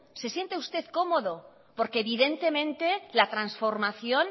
se siente usted cómodo porque evidentemente la transformación